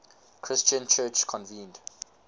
christian church convened